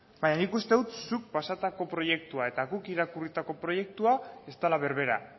baina nik uste dut zuk pasatako proiektua eta guk irakurritako proiektua ez dela berbera